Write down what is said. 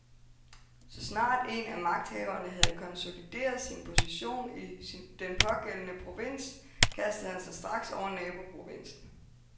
Så snart en af magthaverne havde konsolideret sin position i den pågældende provins, kastede han sig straks over naboprovinsen.